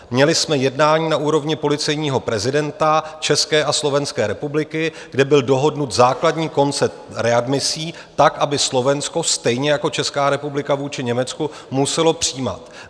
Měli jsme jednání na úrovni policejního prezidenta České a Slovenské republiky, kde byl dohodnut základní koncept readmisí tak, aby Slovensko stejně jako Česká republika vůči Německu muselo přijímat.